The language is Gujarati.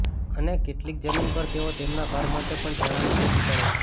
અને કેટલીક જમીન પર તેઓ તેમના ઘર માટે પણ ચણાની ખેતી કરે છે